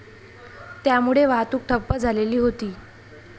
त्यामुळे वाहतूक ठप्प झालेली होती.